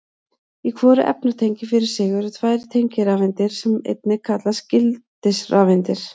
Í hvoru efnatengi fyrir sig eru tvær tengirafeindir sem einnig kallast gildisrafeindir.